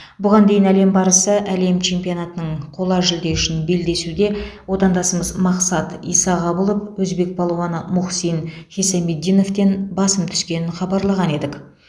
бұған дейін әлем барысы әлем чемпионатының қола жүлде үшін белдесуде отандасымыз мақсат исағабылов өзбек палуаны мухсин хисамиддиновтен басым түскенін хабарлаған едік